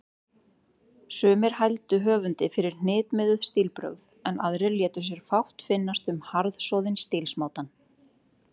Sumir hældu höfundi fyrir hnitmiðuð stílbrögð, en aðrir létu sér fátt finnast um harðsoðinn stílsmátann.